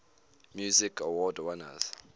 music awards winners